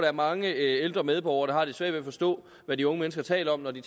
er mange ældre medborgere der har lidt svært ved at forstå hvad de unge mennesker taler om når de